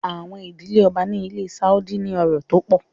Àwọn ìdílé Ọba ni ilé Sáúdí ní ọrọ̀ tó pọ̀.